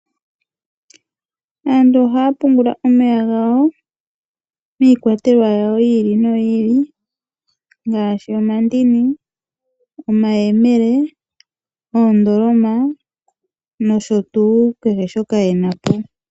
Aantu ohaya pungula omeya gawo miikwatelwa ya yoolokathana ngashi omandini, omayemele, oondoloma nosho tuu kehe shoka ye na po.